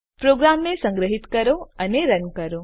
પ્રોગ્રામને સંગ્રહીત કરો અને રન કરો